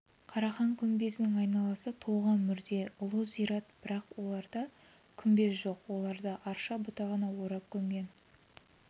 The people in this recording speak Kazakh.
қарахан күмбезінің айналасы толған мүрде ұлы зират бірақ оларда күмбез жоқ оларды арша бұтағына орап көмген